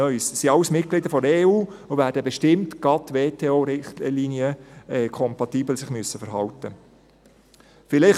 Dies sind alles Mitglieder der EU, und sie werden sich bestimmt gerade kompatibel mit den WTO-Richtlinien verhalten müssen.